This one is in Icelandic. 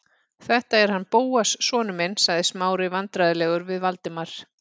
Þetta er hann Bóas sonur minn- sagði Smári vandræðalegur við Valdimar.